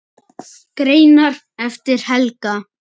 Greinar eftir Helga